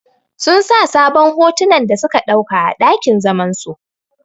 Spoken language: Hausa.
Sun sa sabon hotunan da suka ɗauka a ɗakin zaman su.